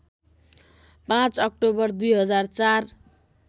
५ October २००४